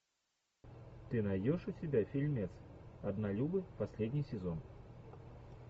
ты найдешь у себя фильмец однолюбы последний сезон